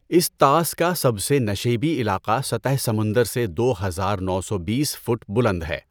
اس طاس کا سب سے نشیبی علاقہ سطح سمندر سے دو ہزار نو سو بیس فٹ بلند ہے۔